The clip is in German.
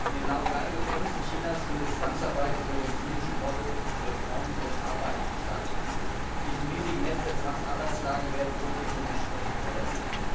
In den Laogai Gefängnissen Chinas findet Zwangsarbeit unter dem zynischen Motto Reform durch Arbeit statt. In diesem riesigen Netz der Zwangsarbeitslager werden grundlegende Menschenrechte verletzt.